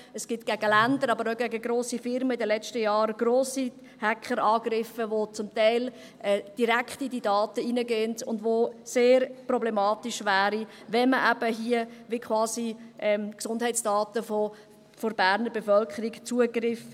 Es gibt in den letzten Jahren gegen Länder, aber auch gegen Firmen grosse Hackerangriffe, die zum Teil direkt in diese Daten reingehen und bei denen es sehr problematisch wäre, wenn man hier eben quasi Zugriff auf die Gesundheitsdaten der Berner Bevölkerung hätte.